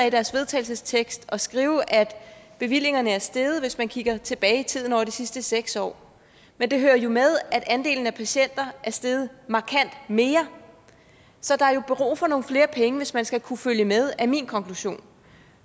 i deres vedtagelsestekst at skrive at bevillingerne er steget hvis man kigger tilbage i tiden over de sidste seks år men det hører jo med at andelen af patienter er steget markant mere så der er jo brug for nogle flere penge hvis man skal kunne følge med er min konklusion